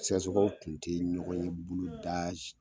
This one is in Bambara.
Sɛnsokaw kun te ɲɔgɔn ye boloda si